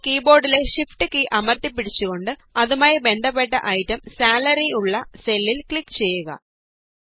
ഇപ്പോള് കീ ബോര്ഡിലെ shift key അമര്ത്തി പിടിച്ചുകൊണ്ട് അതുമായി ബന്ധപ്പെട്ട ഐറ്റം സാലറിഉള്ള സെല്ലില് ക്ലിക് ചെയ്യുക